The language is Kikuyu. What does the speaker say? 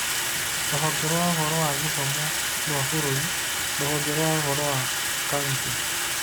Rũhonge rwa ũhoro wa gĩthomo rwa bũrũri, rũhonge rwa ũhoro wa kaunti